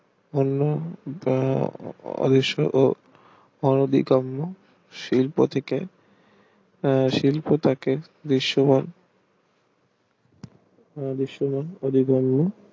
অন্য যা শিল্প থেকে শিল্প টাকে বিশেষ ভাগ